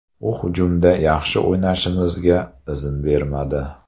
U hujumda yaxshi o‘ynashimizga izn bermadi.